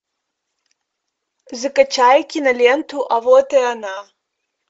закачай киноленту а вот и она